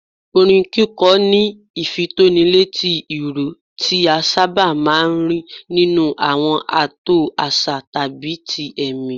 Orin kíkọ ní ìfitónilétí ìró, tí a sábà máa ń rí nínú àwọn ààtò àṣà tàbí ti ẹ̀mí